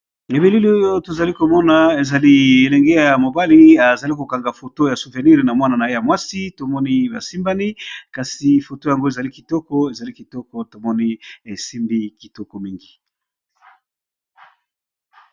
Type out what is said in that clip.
Na bilili oyo tozali komona ezali elenge ya mobali azali kokanga foto ya souvenir na mwana na ye ya mwasi. Tomoni basimbani kasi foto yango ezali kitoko ezali kitoko tomoni esimbi kitoko mingi.